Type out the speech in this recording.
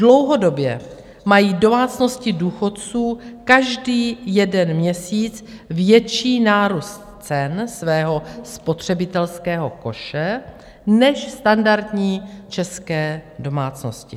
Dlouhodobě mají domácnosti důchodců každý jeden měsíc větší nárůst cen svého spotřebitelského koše než standardní české domácnosti.